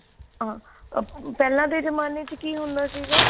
ah ਪਹਿਲਾਂ ਦੇ ਜਮਾਨੇ ਵਿੱਚ ਕੀ ਹੁੰਦਾ ਸੀਗਾ